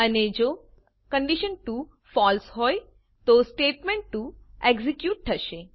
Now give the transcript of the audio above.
અને જો condition two false હોય તો સ્ટેટમેન્ટ2 એક્ઝેક્યુટ થશે